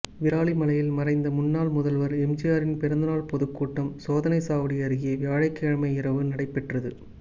விராலிமலையில் மறைந்த முன்னாள் முதல்வா் எம்ஜிஆரின் பிறந்தாள் பொதுக்கூட்டம் சோதனைச்சாவடி அருகே வியாழக்கிழமை இரவு நடைபெற்றது